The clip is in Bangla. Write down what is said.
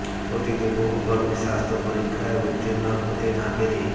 অতীতে বহু কর্মী স্বাস্থ্য পরীক্ষায় উত্তীর্ণ হতে না পেরে